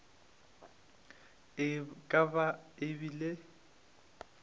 e ka ba e bile